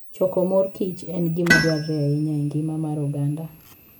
Choko mor kich en gima dwarore ahinya e ngima mar oganda.